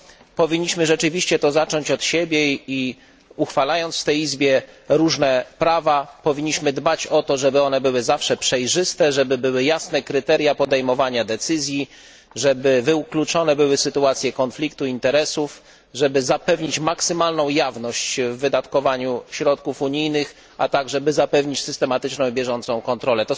Walkę tę powinniśmy zacząć od siebie i, uchwalając w tej izbie różne prawa, powinniśmy dbać o to, żeby były zawsze przejrzyste, żeby istniały jasne kryteria podejmowania decyzji, żeby wykluczone były sytuacje konfliktu interesów, żeby zapewnić maksymalną jawność w wydatkowaniu środków unijnych, a także by zapewnić systematyczną i bieżącą kontrolę.